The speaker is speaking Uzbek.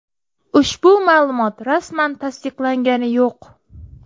Ushbu ma’lumot rasman tasdiqlangani yo‘q.